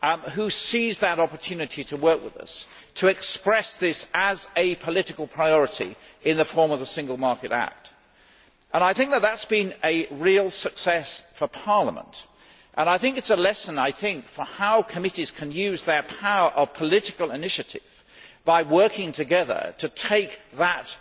who seized that opportunity to work with us to express this as a political priority in the form of the Single Market Act. That has been a real success for Parliament. It is a lesson on how committees can use their power of political initiative by working together to take that